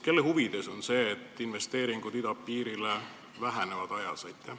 Kelle huvides see on, et investeeringud idapiirile vähenevad?